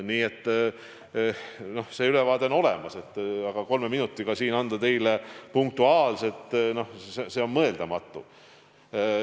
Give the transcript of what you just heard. Nii et see ülevaade on olemas, aga seda siin kolme minutiga teile punktuaalselt kirjeldada on mõeldamatu.